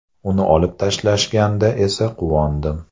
Uni olib tashlashganda esa quvondim.